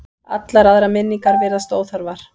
Allar aðrar minningar virðast óþarfar.